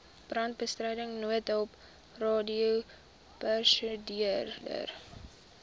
brandbestryding noodhulp radioprosedure